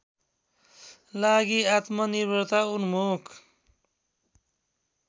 लागि आत्मनिर्भरता उन्मुख